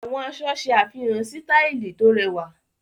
Àwọn aṣọ ṣe àfihàn sítàìlì tó rẹwà.